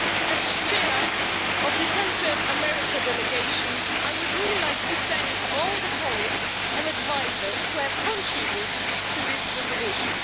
As Chair of the Central America Delegation, I would really like to thank all the colleagues and advisers who have contributed to this resolution.